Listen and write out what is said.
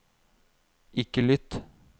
ikke lytt